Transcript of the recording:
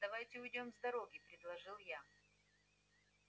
давайте уйдём с дороги предложил я